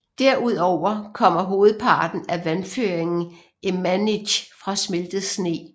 Derud over kommer hovedparten af vandføringen i Manytj fra smeltet sne